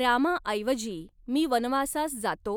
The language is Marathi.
रामाऐवजी मी वनवासास जातो